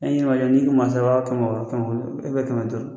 N'i n'i k'u ma o b'a fɔ kɛmɛ wɔɔrɔ, kɛmɛ wolonwula kɛmɛ duuru